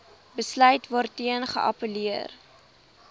besluit waarteen geappelleer